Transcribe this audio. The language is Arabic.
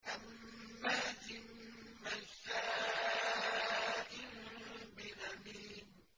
هَمَّازٍ مَّشَّاءٍ بِنَمِيمٍ